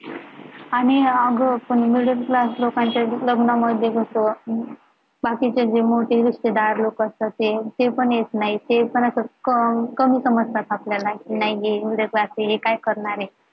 आणि अगं पण middle class लोकांच्या लग्ना मध्ये कसं बाकीचे जे मोठे रिश्तेदार लोकं असतात ते, ते पण येत नाही ते पण असं कमी समजतात आपल्याला नाही हे middle class हे काय करणार आहे